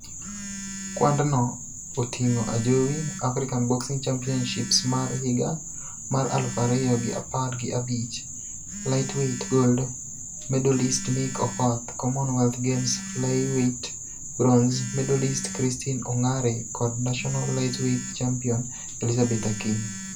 Kwadno oting'o Ajowi, African Boxing Championships mar higa ,mar aluf ariyo gi apar gi abich lightweight gold medalist Nick Okoth, Commonwealth Games flyweight bronze medalist Christine Ongare kod national lightweight champion Elizabeth Akinyi.